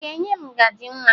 Ị ga-enye m ngaji nwa?